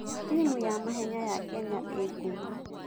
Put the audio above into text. Timu ya mahenya ya Kenya ĩĩ ngumo.